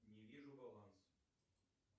не вижу баланс